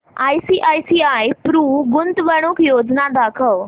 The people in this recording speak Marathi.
आयसीआयसीआय प्रु गुंतवणूक योजना दाखव